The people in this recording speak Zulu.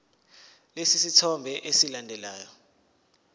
lesi sithombe esilandelayo